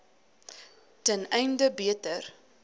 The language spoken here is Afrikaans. ten einde beter